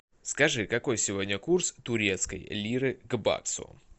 скажи какой сегодня курс турецкой лиры к баксу